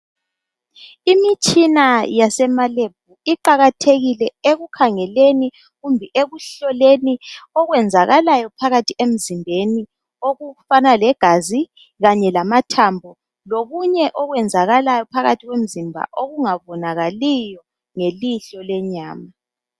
Imitshina yasema Lebhu iqakathekile ekukhangeleni kumbe ekuhloleni okwenzakalayo phakathi emzimbeni okufana legazi kanye lamathambo lokunye okwenzakalayo phakathi komzimba okungabonakaliyo ngelihlo lenyama.